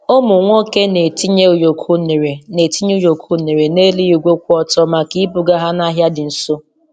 Ụmụ nwoke na-etinye ụyọkọ unere na-etinye ụyọkọ unere n’elu igwe kwụ otu maka ibuga ha n’ahịa dị nso.